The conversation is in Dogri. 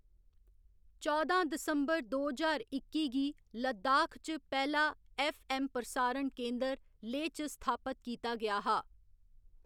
चौदां दिसंबर दो ज्हार इक्की गी लद्दाख च पैह्‌‌ला ऐफ्फ. ऐम्म प्रसारण केन्द्र लेह च स्थापत कीता गेआ हा।